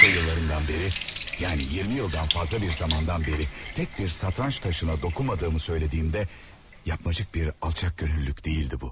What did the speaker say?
Lisey illərimdən bəri, yəni 20 ildən fazla bir zamandan bəri tək bir satranç daşına toxunmadığımı söylədiyində yapmacıq bir alçaqgönüllülük deyildi bu.